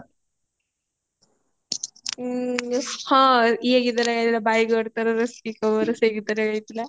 ହଁ ଇଏ ଗୀତା ଟା ଗାଇଥିଲା ସେଇ ଗୀତ ଟା ଗାଇଥିଲା